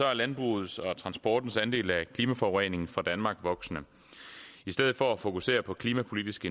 er landbrugets og transportens andel af klimaforureningen fra danmark voksende i stedet for at fokusere på klimapolitiske